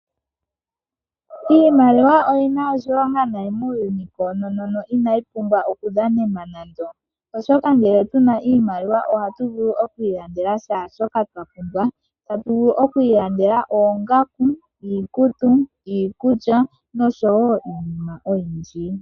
Iimaliwa oyi na oshilongo nayi muuyuni koononono, inayi pumbwa okudhanenwa nando. Oshoka ngele tu na iimaliwa ohatu vulu oku ilandela shaashoka twa pumbwa. Tatu vulu oku ilandela oongaku, iikutu, iikulya noshowo iinima oyindji.